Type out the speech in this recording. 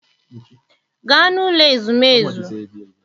Gaa n'ụlọ ezumezu!